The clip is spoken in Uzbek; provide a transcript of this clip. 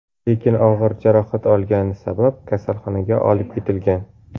Lekin og‘ir jarohat olgani sabab, kasalxonaga olib ketilgan.